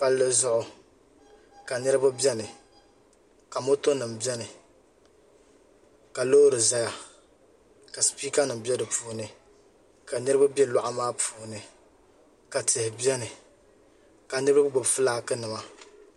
palizuɣ' ka miriba bɛn ka 'ɔto nim bɛni ka lori zaya ka sipɛka nim bɛ di puuni ka niriba bɛ luɣ'maa puuni ka tihi bɛni ka niriba gbabi ƒɔlagi nima